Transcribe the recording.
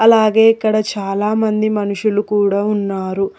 అలాగే ఇక్కడ చాలామంది మనుషులు కూడా ఉన్నారు.